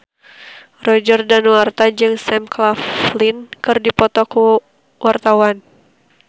Roger Danuarta jeung Sam Claflin keur dipoto ku wartawan